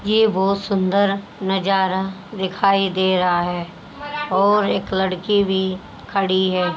ये वो सुंदर नजारा दिखाई दे रहा है और एक सुंदर लड़की भी खड़ी है।